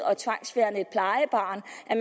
at